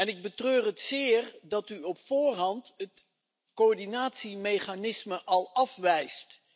Ik betreur het zeer dat u op voorhand het coördinatiemechanisme al afwijst.